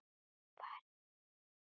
Far í friði, vinur minn.